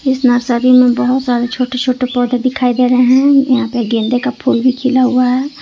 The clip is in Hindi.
इस नर्सरी में बहुत सारे छोटे छोटे पौधे दिखाई दे रहे हैं यहां पे गेंदे का फूल भी खिला हुआ है।